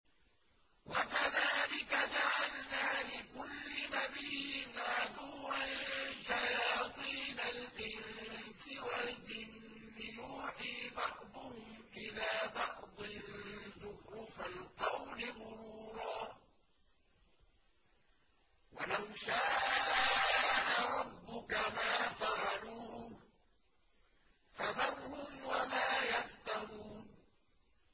وَكَذَٰلِكَ جَعَلْنَا لِكُلِّ نَبِيٍّ عَدُوًّا شَيَاطِينَ الْإِنسِ وَالْجِنِّ يُوحِي بَعْضُهُمْ إِلَىٰ بَعْضٍ زُخْرُفَ الْقَوْلِ غُرُورًا ۚ وَلَوْ شَاءَ رَبُّكَ مَا فَعَلُوهُ ۖ فَذَرْهُمْ وَمَا يَفْتَرُونَ